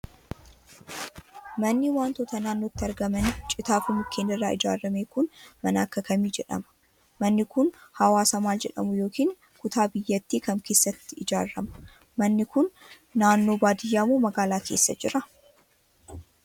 Manni wantoota naannotti argaman citaa fi mukkeen irraa ijaarame kun mana akka kamii jedhama? Manni kun hawaasa maal jedhamu yokin kutaa biyyatti kam keessatti ijaarama? Manni kun, naannoo baadiyaa moo magaalaa keessa jira?